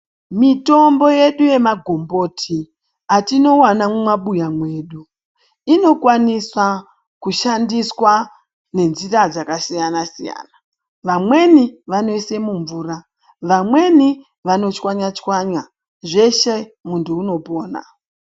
Mitombo yedu yemagomboti atinovana mumabuya mwedu inokwanisa kushandiswa nenzira dzakasiyana-siyana. Vmweni vanoise mumvura, vamweni vanochwanya-chwanya zveshe muntu unopona.